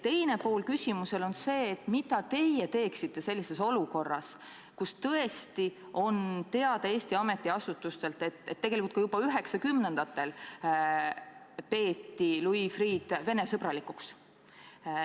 Teine pool küsimusest on see, et mida teeksite teie sellises olukorras, kus Eesti ametiasutustel on teada, et juba 1990-ndatel peeti Louis Freeh'd Vene-sõbralikuks.